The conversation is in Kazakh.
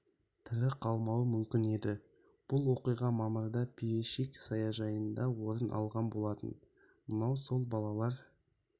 тірі қалмауы мүмкін еді бұл оқиға мамырда пищевик саяжайында орын алған болатын мынау сол балалар